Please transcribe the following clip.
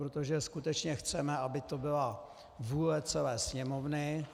Protože skutečně chceme, aby to byla vůle celé Sněmovny.